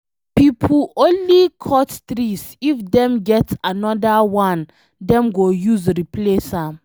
Make pipo only cut tree if dem get anodir one dem go use replace am